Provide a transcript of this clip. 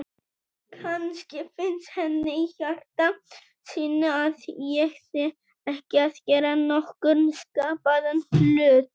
Kannski finnst henni í hjarta sínu að ég sé ekki að gera nokkurn skapaðan hlut.